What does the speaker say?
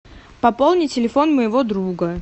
пополни телефон моего друга